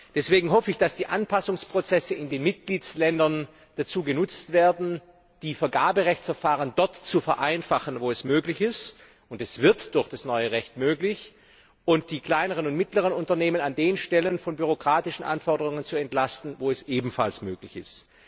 Deswegen hoffe ich, dass die Anpassungsprozesse in den Mitgliedstaaten dazu genutzt werden, die Vergaberechtsverfahren dort zu vereinfachen, wo es möglich ist und es wird durch das neue Recht möglich und ebenfalls die kleineren und mittleren Unternehmen an den Stellen von bürokratischen Anforderungen zu entlasten, wo es möglich ist.